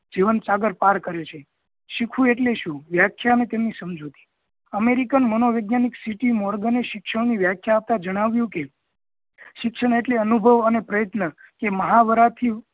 જીવન સાગર પાર કરે છે શીખવું એટલે શું વ્યાખ્યા અને તેની સમજૂતી american મનોવેજ્ઞાનિક ct morgan એ શિક્ષણ ની વ્યાખ્યા આપતા જણાવ્યું કે શિક્ષણ એટલે અનુભવ અને પ્રયત્ન કે મહાવરા થી